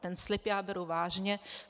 Ten slib já beru vážně.